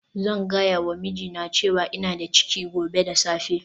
Zan gaya wa mijina cewa ina da ciki gobe da safe